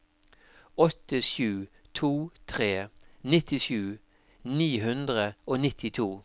åtte sju to tre nittisju ni hundre og nittito